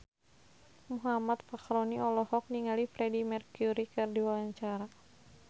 Muhammad Fachroni olohok ningali Freedie Mercury keur diwawancara